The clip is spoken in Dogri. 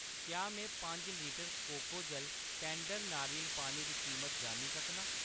क्या में पंज इक लीटर कोकोजल टैंडर नारियल पानी दी कीमत जानी सकनां ?